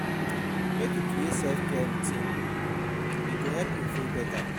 Make you create self-care routine e go help you feel beta.